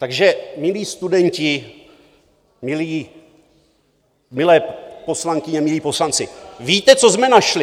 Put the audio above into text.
Takže, milí studenti, milé poslankyně, milí poslanci, víte, co jsme našli?